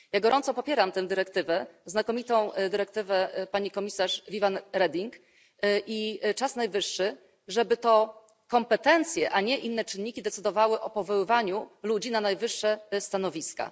Ja gorąco popieram tę dyrektywę znakomitą dyrektywę pani komisarz Viviane Reding i czas najwyższy, żeby to kompetencje, a nie inne czynniki decydowały o powoływaniu ludzi na najwyższe stanowiska.